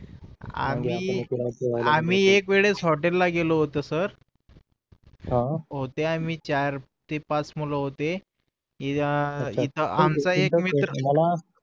आणि आम्ही एक वेळेस हॉटेल गेलो होतो सर होते आम्ही चार ते पाच मूल होते इथे आमचा एक मित्र